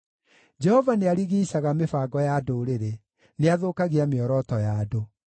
Jehova nĩarigiicaga mĩbango ya ndũrĩrĩ; nĩathũkagia mĩoroto ya andũ.